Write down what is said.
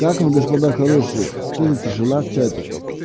как вы господа хорошие что за тишина в чате